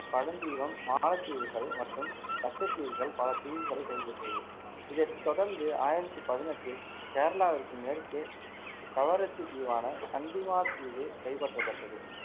பழந்தீவம், மாலத்தீவுகள் மற்றும் லட்சத்தீவுகள் பல தீவுகளைக் கைப்பற்றியது. இதைத் தொடர்ந்து ஆயிரத்தி பதினெட்டில் கேரளாவிற்கு மேற்கே கவரத்தி தீவான சண்டிமாத்தீவு கைப்பற்றப்பட்டது.